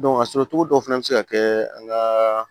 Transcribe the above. a sɔrɔcogo dɔw fana bɛ se ka kɛ an ka